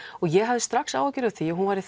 ég hafði strax áhyggjur af því að hún væri